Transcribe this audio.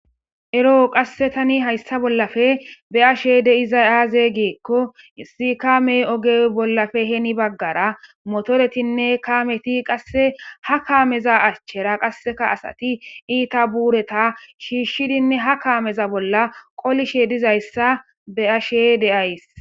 Ero tan haysa bollappe be'ashe dizay aze gikko issi kame oge bollappe hen bagara motoretinne Kameti qase ha kameza achera qasekka asati ita burata shishidinne ha kame bolla qolishe dizaysa be'ashe de'aysi